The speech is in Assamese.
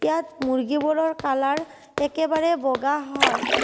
ইয়াত মূৰ্গিবোৰৰ কালাৰ একেবাৰে বগা হয়।